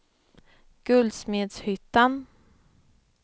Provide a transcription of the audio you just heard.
Guldsmedshyttan